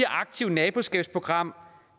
aktivt naboskabsprogram